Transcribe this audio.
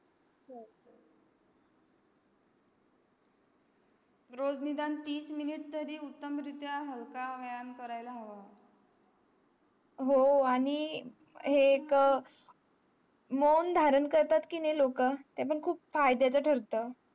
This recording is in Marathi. रोज निदान तीस minute तरी उत्तम रित्या व्यायाम करावा हवा हो आणि हे एक अं मोंढारां करतात कि नाही लोक ते पण खूप फायद्या चा ठरत